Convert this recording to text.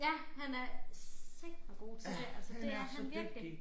Ja han er sateme god til det altså det er han virkelig